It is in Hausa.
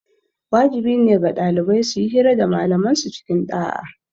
Wajibi ne ga ɗalibai suyi hira da malaman su cikin ɗa'a